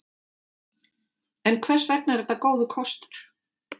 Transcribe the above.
En hvers vegna er þetta góður kostur?